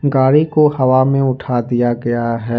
गाड़ी को हवा में उठा दिया गया है।